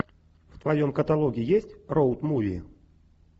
в твоем каталоге есть роуд муви